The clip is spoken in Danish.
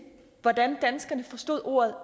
hvordan danskerne forstod ordet